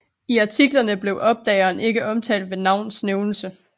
I artiklerne blev opdageren ikke omtalt ved navns nævnelse